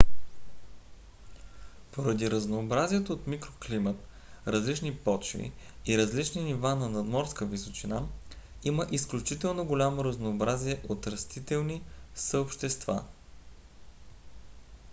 поради разнообразието от микроклимат различни почви и различни нива на надморска височина има изключително голямо разнообразие от растителни съобщества